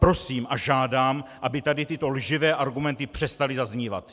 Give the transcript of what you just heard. Prosím a žádám, aby tady tyto lživé argumenty přestaly zaznívat!